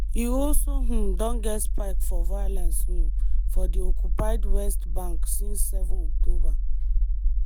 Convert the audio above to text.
e also um don get spike for violence um for di occupied west bank since 7 october.